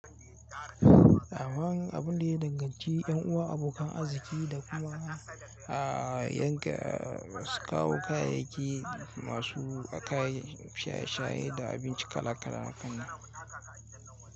Aman abun da ya danganci ƴan uwa abokan arziki da kuma yan kai su kawo kayayyaki masu kayan shaye-shaye da abinci kala-kala hakan nan.